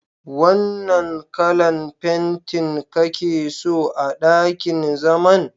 Wanna kalan fentin kake so a ɗakin zaman?